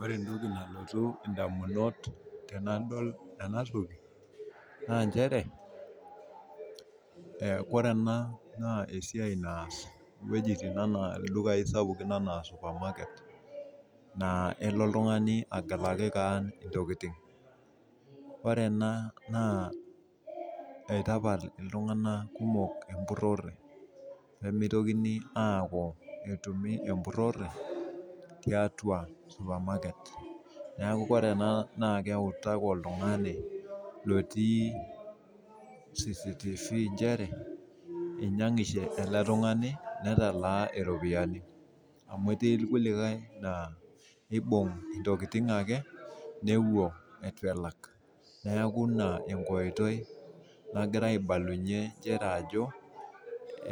Ore entoki nalotu ndamunot tanadol enatoki na nchere ore na ldukai sapukin anaa supermarket na elo oltungani agelaki keon ntokitin ore ena na itapal ltunganak kumok empurore nimitoki aata etumi empurore tiatia supermarket neaku ore ena keutaki oltungani lotii cctv nchere inyangishe eletungani netalaa ropiyani amu etii irkulie na kibung ntokitin ake nepuo itubelak neaku ina enkoitoi nagira aibalunye nchere ajo